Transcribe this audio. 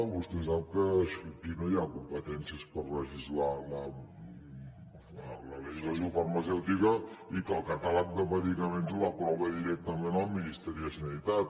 vostè sap que aquí no hi ha competències per legislar la legislació farmacèutica i que el catàleg de medicaments l’aprova directament el ministeri de sanitat